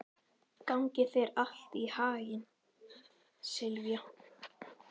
Gangi þér allt í haginn, Silvía.